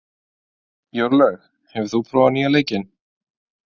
Jórlaug, hefur þú prófað nýja leikinn?